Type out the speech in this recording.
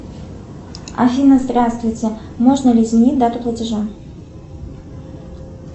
афина здравствуйте можно ли изменить дату платежа